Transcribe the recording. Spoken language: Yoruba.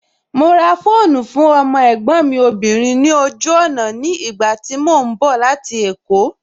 Mo ra fóònù fún ọmọ ẹ̀gbọ́n mi obìnrin ní ojú ọ̀nà ní ìgbà tí mo ń bọ̀ láti èkó